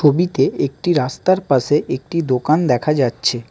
ছবিতে একটি রাস্তার পাশে একটি দোকান দেখা যাচ্ছে।